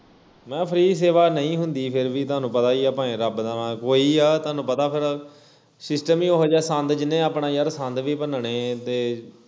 ਮੈਂ free ਸੇਵਾ ਨਹੀਂ ਹੁੰਦੀ ਫਿਰ ਵੀ ਤੁਹਾਨੂੰ ਪਤਾ ਈ ਆ ਭਾਵੇਂ ਰੱਬ ਦਾ ਨਾਂ ਕੋਈ ਆ ਤੁਹਾਨੂੰ ਪਤਾ ਫਿਰ system ਵੀ ਇਹੋ ਜਿਹਾ ਸੰਦ ਜਿਹਨੇ ਆਪਣਾ ਯਾਰ ਸੰਦ ਵੀ ਭੰਨਣੇ ਤੇ